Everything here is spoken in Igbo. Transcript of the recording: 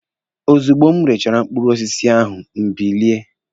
Ozugbo m rechara mkpụrụ osisi ahụ, m bilie.